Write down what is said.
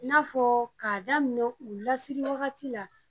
N'a fɔ k'a daminɛ u lasigi waati la